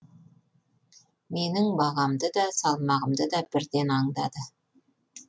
менің бағамды да салмағымды да бірден аңдады